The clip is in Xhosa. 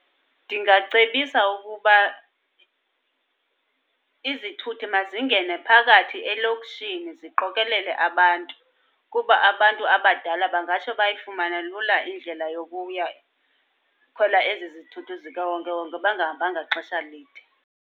Ndingacebisa ukuba izithuthi mazingene phakathi elokishini ziqokelele abantu. Kuba abantu abadala bangatsho bayifumane lula indlela yokuya khwela ezi zithuthi zikawonkewonke bangahambanga xesha lide.